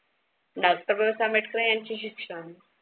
doctor Babasaheb Ambedkar यांचे शिक्षण